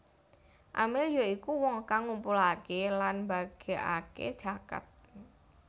Amil ya iku wong kang ngumpulaké lan mbagèkaké zakat